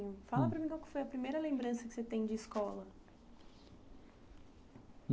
Fala para mim qual foi a primeira lembrança que você tem de escola.